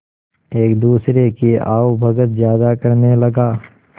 एक दूसरे की आवभगत ज्यादा करने लगा